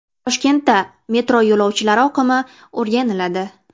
Toshkentda metro yo‘lovchilari oqimi o‘rganiladi.